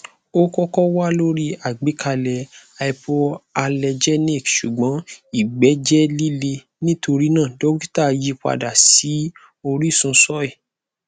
o kọkọ wa lori agbekalẹ hypoallergenic ṣugbọn igbe jẹ lile nitorina dokita yipada si orisun soy